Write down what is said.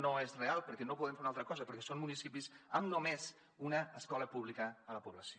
no és real perquè no podem fer una altra cosa perquè són municipis amb només una escola pública a la població